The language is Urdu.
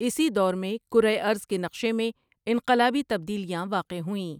اسی دور میں کرۂ ارض کے نقشے میں انقلابی تبدیلیاں واقع ہوئیں ۔